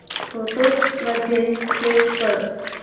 photos मध्ये save कर